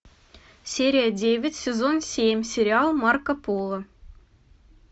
серия девять сезон семь сериал марко поло